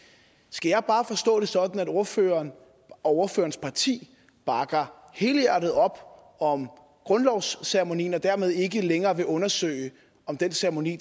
skal jeg bare forstå det sådan at ordføreren og ordførerens parti bakker helhjertet op om grundlovceremonien og dermed ikke længere vil undersøge om den ceremoni